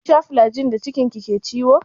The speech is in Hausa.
Kin sha flajil da cikin ki ke ciwo?